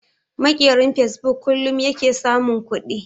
Maƙerin fasebuk kullun yake samun kuɗi